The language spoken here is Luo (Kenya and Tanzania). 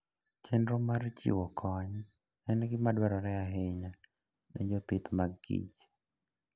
Chenro mar chiwo kony en gima dwarore ahinya ne jopith mag kich.